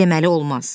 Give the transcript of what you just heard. Deməli olmaz.